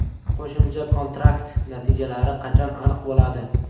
Qo‘shimcha kontrakt natijalari qachon aniq bo‘ladi?